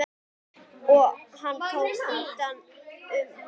Og hann tók utan um hana.